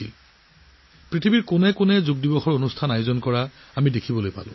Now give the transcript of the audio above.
অৰ্থাৎ আমি সকলোৱে দেখিলোঁ যে পৃথিৱীৰ প্ৰতিটো চুকতে যোগাসন কৰা আকাশৰ পৰা তোলাৰ দৃষ্টিনন্দন দৃশ্য